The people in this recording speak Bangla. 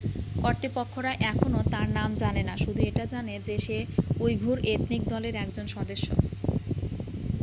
কর্তৃপক্ষরা এখনও তার নাম জানে না শুধু এটা জানে যে সে উইঘুর এথনিক দলের একজন সদস্য